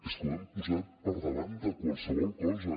és que ho hem posat per davant de qualsevol cosa